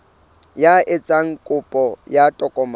ya etsang kopo ya tokomane